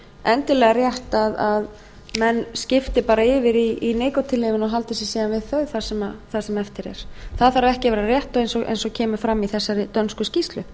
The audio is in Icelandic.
endilega rétt að menn skipti bara yfir í nikótínlyfin og haldi sig síðan við þau það sem eftir er það þarf ekki að vera rétt eins og kemur fram í þessari dönsku skýrslu